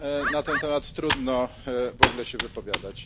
Na ten temat trudno w ogóle się wypowiadać.